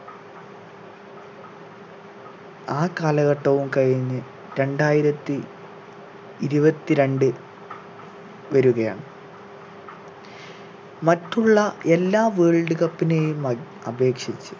ആ കാലഘട്ടവും കഴിഞ്ഞ് രണ്ടായിരത്തി ഇരുപത്തി രണ്ട് വരുകയാണ് മറ്റുള്ള എല്ലാ world cup നെയും അട് അപേക്ഷിച്ച്